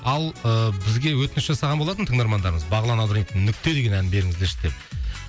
ал ы бізге өтініш жасаған болатын тыңдармандарымыз бағлан абдраимовтың нүкте деген әнін беріңіздерші деп